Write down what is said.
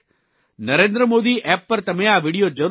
Narendra Modi app ઉપર તમે આ વિડિયો જરૂર જોજો